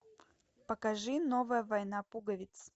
покажи новая война пуговиц